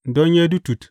Don Yedutun.